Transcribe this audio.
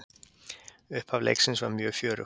Upphaf leiksins var mjög fjörugt.